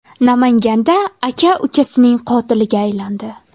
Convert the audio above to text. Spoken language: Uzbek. Namanganda aka ukasining qotiliga aylandi.